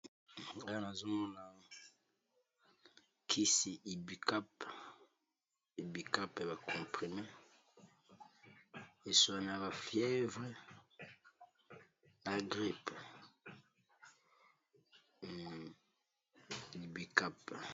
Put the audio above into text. Nga nazomona kisi Ibucap ya ba comprime eswanaka fievre na grippe Ibucap.